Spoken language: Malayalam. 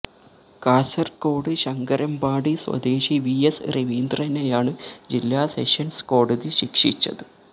കാസര്കോട് ശങ്കരമ്പാടി സ്വദേശി വി എസ് രവീന്ദ്രനെയാണ് ജില്ലാ സെഷന്സ് കോടതി ശിക്ഷിച്ചത്